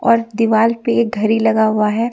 और दिवाल पे एक घरी लगा हुआ है।